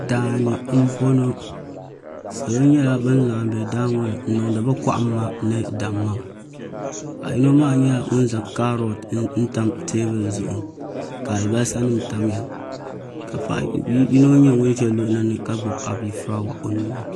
Daani n boŋɔ salo nyɛla ban laɣim bɛ daa ŋo ni n niŋdi bi kohamma ni damma paɣa yino maa nyɛla ŋun zaŋ kaarot n tam teebuli zuɣu ka alibarisa nim tamya ka paɣa yino nyɛ ŋun ʒɛ o luɣuli ni ka gbubi abifuraawa o nuuni